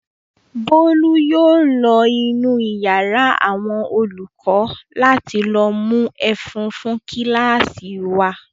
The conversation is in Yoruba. Bólú yóò lọ inú ìyàrá àwọn olùkọ́ láti lọ mú ẹ̀fún fún kíláàsì wa.